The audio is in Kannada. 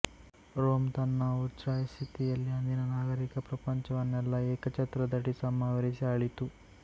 ರೋಂ ತನ್ನ ಉಚ್ಛ್ರಾಯಸ್ಥಿತಿಯಲ್ಲಿ ಅಂದಿನ ನಾಗರಿಕ ಪ್ರಪಂಚವನ್ನೆಲ್ಲ ಏಕಚ್ಛತ್ರದಡಿ ಸಂವರಿಸಿ ಆಳಿತು